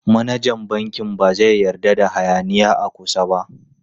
Manajan bankin ba zai yarda da hayaniya a kusa ba.